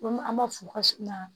An b'a fɔ ka sin na